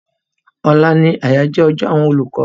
Òla ni àyájọ́ ọjọ́ àwọn olùkọ́.